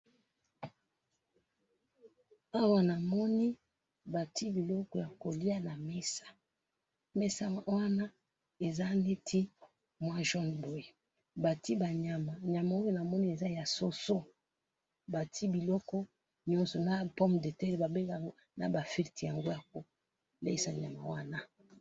Awa na moni mesa bati biloko ya kolia : soso, fruite...